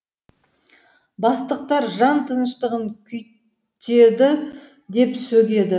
бастықтар жан тыныштығын күйттеді деп сөгеді